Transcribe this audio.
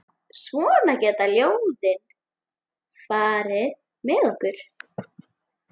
Svona geta ljóðin farið með okkur.